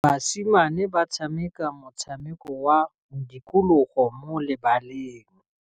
Basimane ba tshameka motshameko wa modikologô mo lebaleng.